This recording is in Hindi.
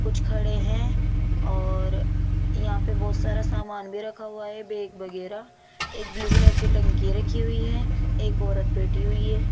कुछ खड़े हैं और यहां पे बहुत सारा सामान भी रखा हुआ है बैग वगैरह एक ब्लू कलर की टंकी रखी हुई है एक औरत बैठी हुई है।